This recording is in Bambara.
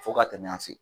Fo ka tɛmɛ an fɛ